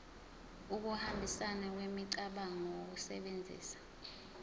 ukuhambisana kwemicabango ngokusebenzisa